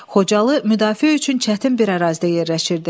Xocalı müdafiə üçün çətin bir ərazidə yerləşirdi.